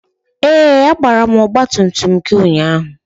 Ee! A gbara ọgba tum tum gị ụnyaahụ.